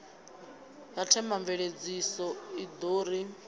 ya themamveledziso i ḓo ri